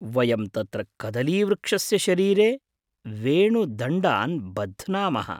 वयं तत्र कदलीवृक्षस्य शरीरे वेणुदण्डान् बध्नामः।